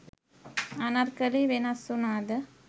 අනර්කලී වෙනස් වුණාද?